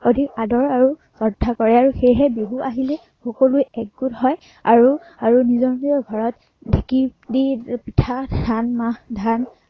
অধিক আদৰ আৰু শ্ৰদ্ধা কৰে। আৰু সেয়েহে বিহু আহিলেই সকলোৱে একগোট হয় আৰু~আৰু নিজৰ নিজৰ ঘৰত ঢেঁকী দি পিঠা, ধান মাহ, ধান